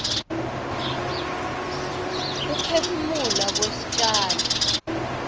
kuphefumula kwestjalo